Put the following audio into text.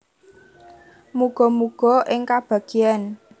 Muga muga ing kabagyan